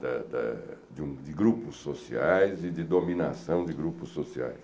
da da de um de grupos sociais e de dominação de grupos sociais.